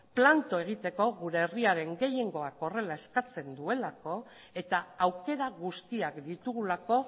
planto egiteko gure herriaren gehiengoak horrela eskatzen duelako eta aukera guztiak ditugulako